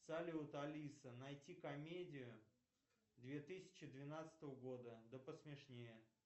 салют алиса найти комедию две тысячи двенадцатого года да посмешнее